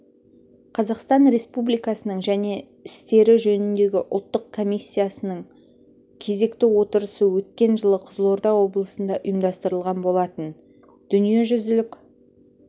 қазақстан республикасының және істері жөніндегі ұлттық комиссиясының кезекті отырысы өткен жылы қызылорда облысында ұйымдастырылған болатын дүниежүзілік